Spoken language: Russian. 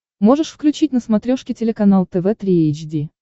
можешь включить на смотрешке телеканал тв три эйч ди